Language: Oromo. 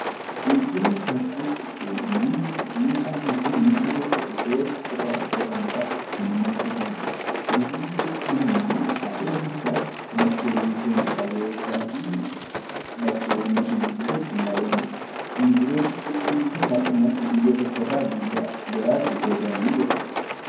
Geejjibni karaa ittiin namni meeshaan bakka tokkoo gara biraatti ittiin imalchiifamudha. Turizimii jechuun immoo adeemsa bakkeewwan seenaa qabeessaa fi bashannansiisoo ittiin daawwannudha. Immiigireeshinii jechuun immoo salphumatti biyya tokkorraa gara biraatti godaanuudha.